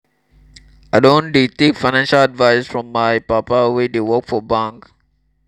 i don dey take financial advice from my papa wey dey work for bank.